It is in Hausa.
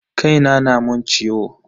Kai na na mun ciwo.